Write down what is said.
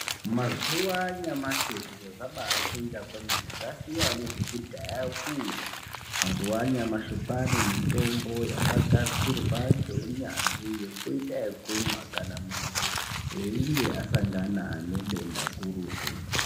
Mazuwa anyashi zviro zvabachinja kwemene zvasiyana nezvekudhaya kuya mazuwa anyamashi kwaanemutombo yakagadzirwa ngeunyanzvi yekuita ekumwa kana muntu eichinge asangana nedenda gurutu